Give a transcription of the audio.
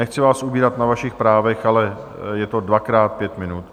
Nechci vám ubírat na vašich právech, ale je to dvakrát pět minut.